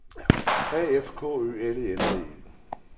A F K Ø L E D E